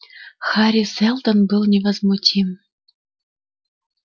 хари сэлдон был невозмутим